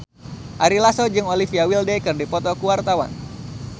Ari Lasso jeung Olivia Wilde keur dipoto ku wartawan